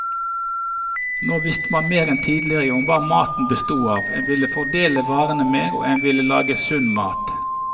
Nå visste man mer enn tidligere om hva maten bestod av, en ville foredle varene mer, og en ville lage sunn mat.